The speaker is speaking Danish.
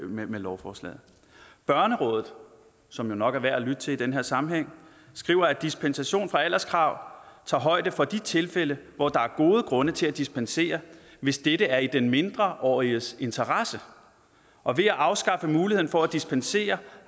med lovforslaget børnerådet som jo nok er værd at lytte til i den her sammenhæng skriver at dispensation fra alderskravet tager højde for de tilfælde hvor der er gode grunde til at dispensere hvis dette er i den mindreåriges interesse og ved at afskaffe muligheden for at dispensere